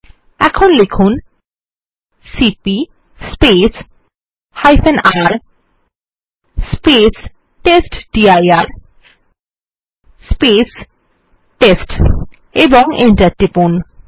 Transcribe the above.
এখন লিখুন cp রের টেস্টডির টেস্ট ও Enter টিপুন